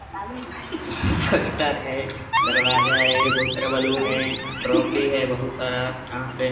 poster है दरवाजा है बहुत सारा बलून है ट्राफी है बहुत सारा यहाँ पे --